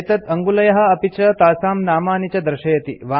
एतत् अङ्गुलयः अपि च तासां नामानि च दर्शयति